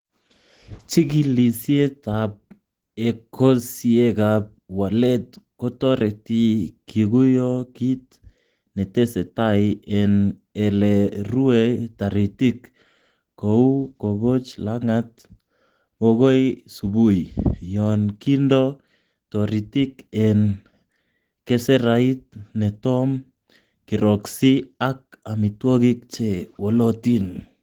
Chigilisiet ab ekosiekab waleet kotoreti kiguyo kit netesetai en ele rue taritik, kou koboch langat bokoi subui, yon kindo toritik en keserait netom kiroksii ak amitwogik che wolotin.